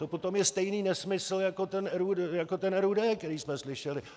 To potom je stejný nesmysl jako ten RUD, který jsme slyšeli.